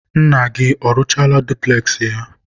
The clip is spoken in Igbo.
nna gị ọrụchaala dupules ya?